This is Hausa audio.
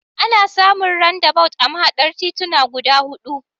Ana samun randabawut a mahaɗar tituna guda huɗu.